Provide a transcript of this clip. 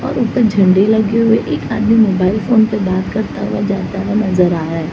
और ऊपर झंडे लगे हुए है एक आदमी मोबाइल फोन पे बात करता हुआ जाता हुआ नज़र आ रहा है।